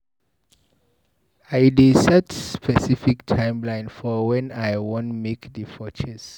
I dey set specific timeline for wen I wan make the purchase.